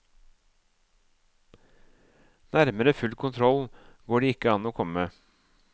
Nærmere full kontroll går det ikke an å komme?